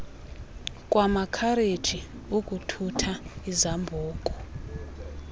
kwamakhareji ukuthutha izambuku